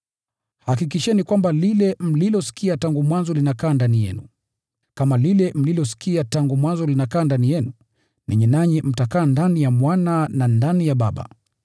Hakikisheni kwamba lile mlilosikia tangu mwanzo linakaa ndani yenu. Kama lile mlilosikia tangu mwanzo linakaa ndani yenu, ninyi nanyi mtakaa ndani ya Mwana na ndani ya Baba.